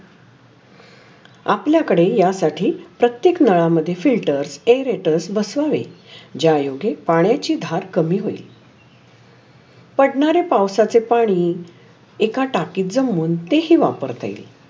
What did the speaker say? आपल्‍या कडे या साठी प्रत्‍येक नळा मध्‍ये फिल्टर इन्वर्टर बसवने ज्यायोग्य पाण्याची धार कामी होइल. पढनारे पाऊ साचे पाणी एका टाकीत जमून तेही वापरता येइल.